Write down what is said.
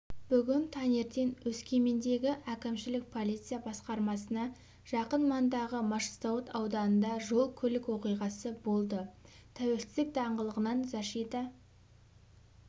бүгін таңертең өскемендегі әкімшілік полиция басқармасына жақын маңдағы машзауыт ауданында жол-көлік оқиғасы болды тәуелсіздік даңғылынан защита